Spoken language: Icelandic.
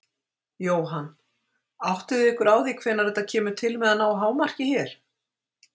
Jóhann: Áttið þið ykkur á því hvenær þetta kemur til með að ná hámarki hér?